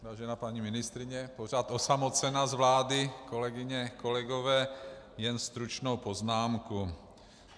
Vážená paní ministryně, pořád osamocena z vlády, kolegyně, kolegové, jen stručnou poznámku.